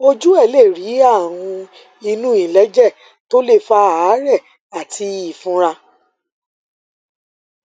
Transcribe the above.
ojú ẹ lè rí àrùn inú iléèjẹ tó lè fa àárè àti ìfunra